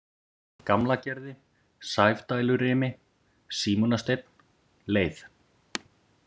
Gamlagerði, Sefdælurimi, Símonarsteinn, Leið